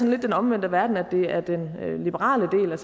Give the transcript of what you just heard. lidt den omvendte verden at det er den liberale